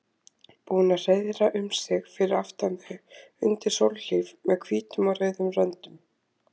Búin að hreiðra um sig fyrir aftan þau undir sólhlíf með hvítum og rauðum röndum.